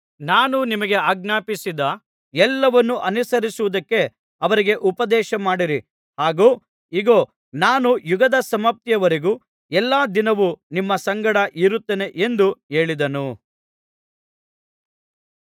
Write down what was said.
ನಾನು ನಿಮಗೆ ಆಜ್ಞಾಪಿಸಿದ ಎಲ್ಲವನ್ನು ಅನುಸರಿಸುವುದಕ್ಕೆ ಅವರಿಗೆ ಉಪದೇಶ ಮಾಡಿರಿ ಹಾಗು ಇಗೋ ನಾನು ಯುಗದ ಸಮಾಪ್ತಿಯವರೆಗೂ ಎಲ್ಲಾ ದಿನವೂ ನಿಮ್ಮ ಸಂಗಡ ಇರುತ್ತೇನೆ ಎಂದು ಹೇಳಿದನು